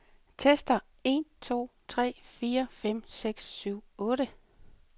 Tester en to tre fire fem seks syv otte.